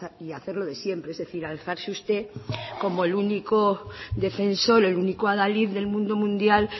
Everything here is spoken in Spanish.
y hacer lo de siempre es decir alzarse usted como el único defensor el único adalid del mundo mundial